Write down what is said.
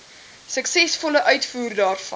suksesvolle uitvoer daarvan